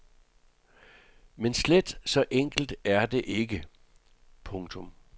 Men slet så enkelt er det ikke. punktum